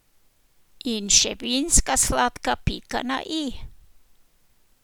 In še vinska sladka pika na i?